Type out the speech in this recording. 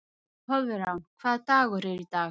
Koðrán, hvaða dagur er í dag?